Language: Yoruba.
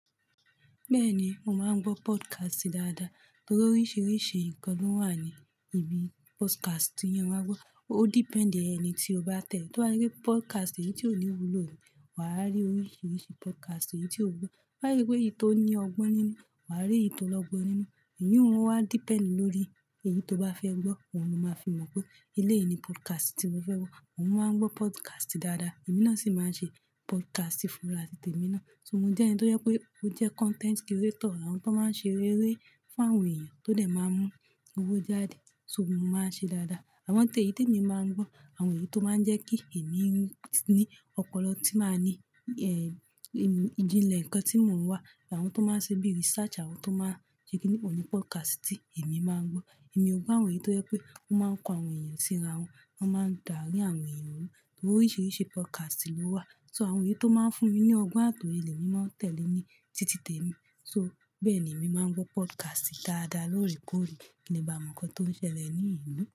Bẹ́ẹ̀ni, mo máa ń gbọ́ podcast dáadáa torí oríṣiríṣi nǹkan ló wà ní ibi podcast tí ẹ máa ń gbọ́. Ó depend ẹni tí o bá tẹ̀lé. Tó bá ṣe pé podcast èyí tí ó níwúlò ni, wàá rí oríṣiríṣi podcast èyí tí ó wúlò. To ba se pé èyí tó ní ọgbọ́n nínú, wà á rí èyí tó lọ́gbọ́n nínú. Ìyiun wá depend lórí èyí tó bá fẹ́ gbọ́. Oun lo máa fi mọ̀ pé eléyìí ni podcast tí mo fẹ́ gbọ́. Mo máa ń gbọ́ podcast dáadáa. Ẹ̀mi náà sì máa ń ṣe podcast fúnrá ti tèmi ná. So mo jẹ́ ẹni tó jẹ pé ó jẹ́ content creator, àwọn tó máa ń ṣe eré fún àwọn èèyàn tó dẹ̀ máa mú owó jáde. So mo máa ń ṣe dáadáa. Àwọn tí èyí tí èmi mà ń gbọ́. Àwọn èyí tó máa ń jẹ́ kí èmi ní ọpọlọ tí máa ní, ìjìnlẹ̀ nǹkan tí mò ń wá. Àwọn tó máa ṣe bíi research, àwọn tó máa ṣe kí ni pélu podcast èmi máa ń gbọ́. Èmi ò ń gbọ́ àwọn èyí tó jẹ́ pé ó máa ń kó àwọn èèyàn sí ra wọn, wọ́n máa ń da àrin àwọn èèyàn rú, torí oríṣiríṣi podcast ló wà. So àwọn èyí tó máa ń fún mi ní ọgbọ́n àti òye lemi máa ń tẹ̀lé ní títí temi. So bẹ́ẹ̀ ni èmi máa ń gbọ́ podcast dáadáa lóòrèkóòrè kí n lè bá mọ̀ nǹkan tó ń ṣẹlẹ̀ ní ìlú.